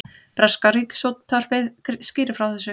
Breska ríkisútvarpið skýrir frá þessu